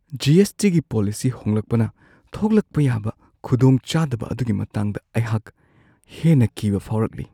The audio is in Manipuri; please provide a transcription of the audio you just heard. ꯖꯤ. ꯑꯦꯁ. ꯇꯤ. ꯒꯤ ꯄꯣꯂꯤꯁꯤ ꯍꯣꯡꯂꯛꯄꯅ ꯊꯣꯛꯂꯛꯄ ꯌꯥꯕ ꯈꯨꯗꯣꯡꯆꯥꯗꯕ ꯑꯗꯨꯒꯤ ꯃꯇꯥꯡꯗ ꯑꯩꯍꯥꯛ ꯍꯦꯟꯅ ꯀꯤꯕ ꯐꯥꯎꯔꯛꯂꯤ ꯫